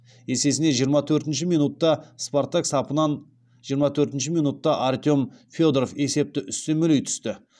есесіне жиырма төртінші минутта спартак сапынан жиырма төртінші минутта артем федоров есепті үстемелей түсті